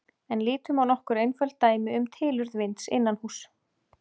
En lítum á nokkur einföld dæmi um tilurð vinds innanhúss.